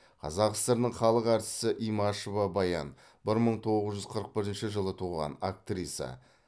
қазақ сср інің халық әртісі имашева баян бір мың тоғыз жүз қырық бірінші жылы туған актриса